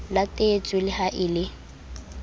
latetswe le ha e le